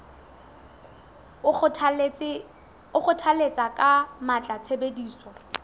o kgothalletsa ka matla tshebediso